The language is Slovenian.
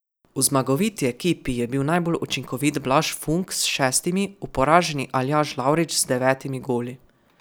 V zmagoviti ekipi je bil najbolj učinkovit Blaž Funk s šestimi, v poraženi Aljaž Lavrič z devetimi goli.